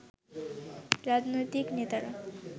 রাজনৈতিক নেতারা